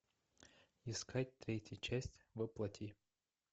искать третья часть во плоти